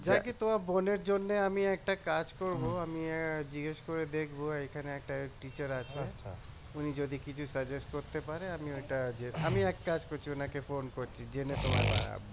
জ্যাকি তোমার বোনের জন্য আমি একটা কাজ করব আমি জিজ্ঞেস করে দেখব এখানে একটা teacher আছে উনি যদি কিছু suggest করতে পারে আমি ওইটা আমি এক কাজ করছি ওনাকে ফোন করছি জেনে তোমায় জানাবো